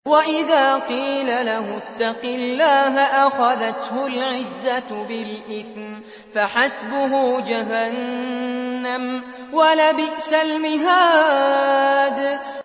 وَإِذَا قِيلَ لَهُ اتَّقِ اللَّهَ أَخَذَتْهُ الْعِزَّةُ بِالْإِثْمِ ۚ فَحَسْبُهُ جَهَنَّمُ ۚ وَلَبِئْسَ الْمِهَادُ